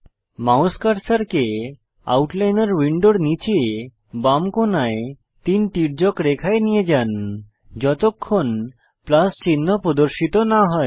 mouse কার্সারকে আউটলাইনর উইন্ডোর নীচে বাম কোণায় তিন তির্যক রেখায় নিয়ে যান যতক্ষণ প্লাস চিহ্ন প্রদর্শিত না হয়